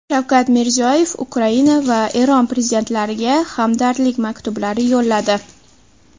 Shavkat Mirziyoyev Ukraina va Eron prezidentlariga hamdardlik maktublari yo‘lladi.